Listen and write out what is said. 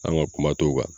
An ka kuma t'o kan